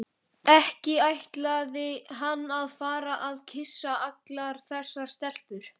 Ekki ætlaði hann að fara að kyssa allar þessar stelpur.